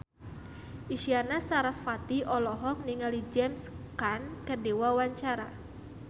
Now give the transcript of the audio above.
Isyana Sarasvati olohok ningali James Caan keur diwawancara